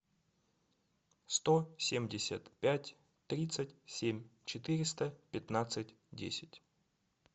сто семьдесят пять тридцать семь четыреста пятнадцать десять